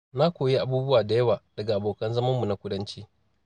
Na koyi abubuwa da yawa daga abokan zamanmu na kudanci.